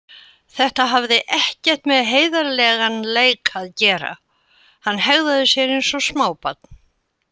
Þetta hafði ekkert með heiðarlegan leik að gera, hann hegðaði sér eins og smábarn.